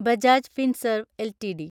Bajaj Finserv LTD